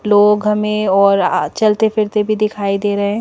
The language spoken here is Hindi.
लोग हमें और चलते फिरते भी दिखाई दे रहे हैं।